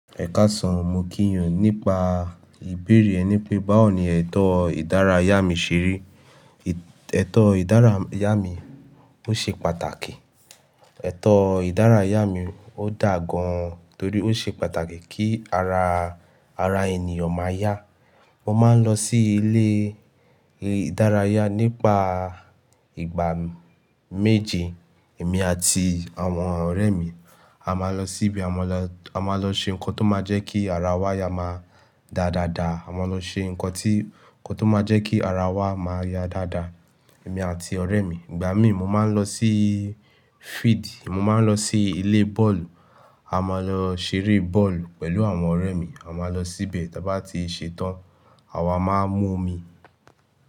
Ẹ káàsán, mo kí yín o, nípa ìbéèrè ẹ ní pé báwo ni ẹ̀tọ́ ìdárayá mi ṣeré. Ẹ̀tọ́ ìdárayá mi ó ṣe pàtàkì. Ẹ̀tọ́ ìdárayá mi ó dà gan torí ó ṣe pàtàkì kí ara, ara ènìyàn máa yá. Mo máa ń lọ sí ilé ìdárayá nípa ìgbà méje. Èmi àti àwọn ọ̀rẹ́ mi a máa lọ sí ibi, a máa lọ, a máa lọ ṣe nǹkan tó máa jẹ́ kí ara wa ya máa dà dáadaa. A máa lọ ṣe nǹkan tí, ǹkan tó máa jẹ́ kí ara wa máa yá dáadáa, èmi àti ọ̀rẹ́ mi. Ìgbà míì mo máa ń lọ sí field. Mo máa ń lọ sí ilé bọ́ọ̀lù. A máa lọ ṣeré bọ́ọ̀lù pẹ̀lú àwọn ọ̀rẹ́ mi. A máa lọ síbẹ̀ tí a bá ti ṣe tán, àwa máa mú omi.